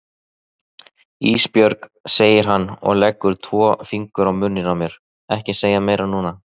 Ísbjörg, segir hann og leggur tvo fingur á munninn á mér, ekki segja meira núna.